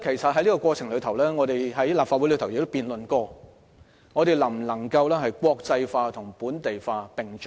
在這過程中，我們曾在立法會辯論能否國際化和本地化並重。